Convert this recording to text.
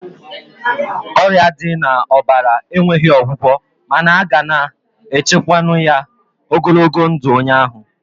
Ọrịa dị na ọbara enweghị ọgwụgwọ mana a ga na echukwanwu ya ogologo ndụ onye ahụ